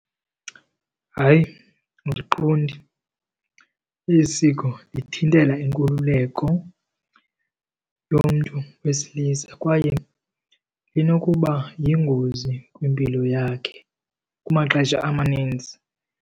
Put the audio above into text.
Hayi, andiqondi eli siko lithintela inkululeko yomntu wesilisa kwaye linokuba yingozi kwimpilo yakhe kumaxesha amaninzi.